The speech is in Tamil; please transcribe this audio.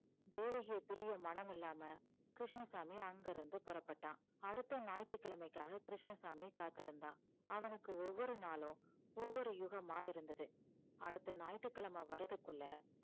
தேவகியை பிரிய மனமில்லாம கிருஷ்ணசாமி அங்கிருந்து புறப்பட்டான் அடுத்த ஞாயிற்றுக்கிழமைக்காக கிருஷ்ணசாமி காத்திருந்தான் அவனுக்கு ஒவ்வொரு நாளும் ஒவ்வொரு யுகமாய் இருந்தது அடுத்த ஞாயிற்றுக்கிழமை வர்றதுக்குள்ள